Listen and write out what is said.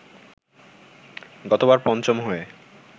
গতবার পঞ্চম হয়ে